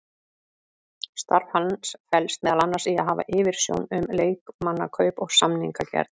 Starf hans felst meðal annars í að hafa yfirsjón um leikmannakaup og samningagerð.